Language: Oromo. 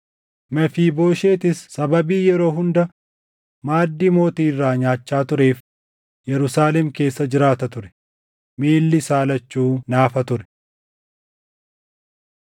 Mefiibooshetis sababii yeroo hunda maaddii mootii irraa nyaachaa tureef Yerusaalem keessa jiraata ture; miilli isaa lachuu naafa ture.